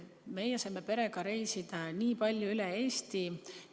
Meie saime perega palju üle Eesti reisida.